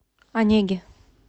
онеге